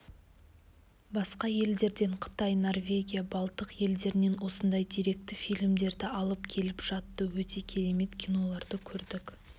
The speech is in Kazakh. басқа елдерден қытай норвегия балтық елдерінен осындай деректі фильмдерді алып келіп жатты өте керемет киноларды көрдік